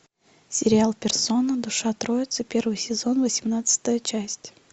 сериал персона душа троицы первый сезон восемнадцатая часть